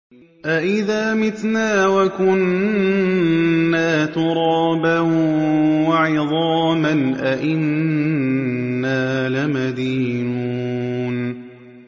أَإِذَا مِتْنَا وَكُنَّا تُرَابًا وَعِظَامًا أَإِنَّا لَمَدِينُونَ